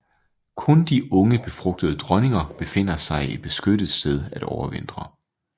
Kun de unge befrugtede dronninger finder sig et beskyttet sted at overvintre